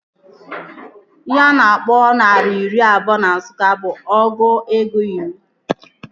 Ihe a na-akpọ naira iri abụọ na Nsụka bụ ọgụ ego iri